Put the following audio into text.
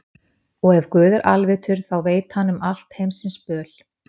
Og ef Guð er alvitur, þá veit hann um allt heimsins böl.